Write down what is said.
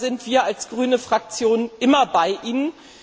Da sind wir als grüne Fraktion immer bei Ihnen.